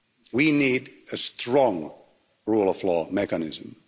We need a strong rule of law mechanism.